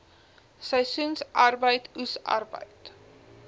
seisoensarbeid oes arbeid